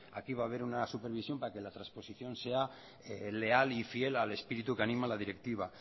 aquí va a haber una supervisión para que la transposición sea leal y fiel al espíritu que anima la directiva